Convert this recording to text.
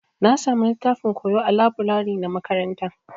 Na samu littafin koyo ã laburare na makaranta.